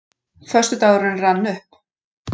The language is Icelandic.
Föstudagurinn rann upp.